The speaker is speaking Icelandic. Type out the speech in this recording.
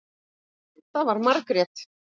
Það var Margrét.